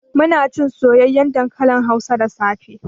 Munacin soyayyen dankalin hausa da safe